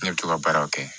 Ne bɛ to ka baaraw kɛ